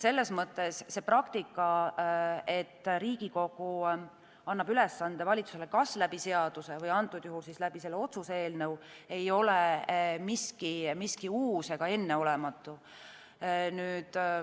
Selles mõttes praktika, et Riigikogu annab ülesande valitsusele kas läbi seaduse või antud juhul läbi selle otsuse-eelnõu, ei ole midagi uut ega enneolematut.